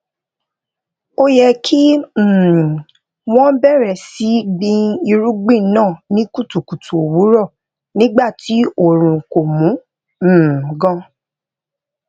ó yẹ kí um wón bèrè sí gbin irúgbìn náà ní kùtùkùtù òwúrò nígbà tí oòrùn ko mú um gan